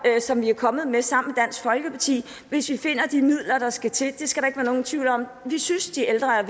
som vi er kommet med sammen med dansk folkeparti hvis vi finder de midler der skal til det skal der ikke være nogen tvivl om vi synes de ældre er